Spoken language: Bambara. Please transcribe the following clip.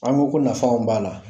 An ko ko nafa min b'a la